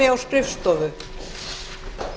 forseti vill tilkynna að